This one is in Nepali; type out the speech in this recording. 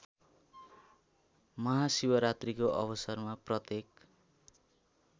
महाशिवरात्रीको अवसरमा प्रत्येक